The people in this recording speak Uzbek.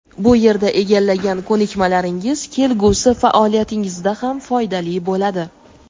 bu yerda egallagan ko‘nikmalaringiz kelgusi faoliyatingizda ham foydali bo‘ladi.